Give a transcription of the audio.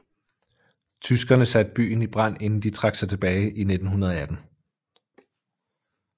Tyskerne satte byen i brand inden de trak sig tilbage i 1918